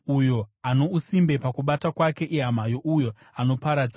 Uyo ano usimbe pakubata kwake ihama youyo anoparadza.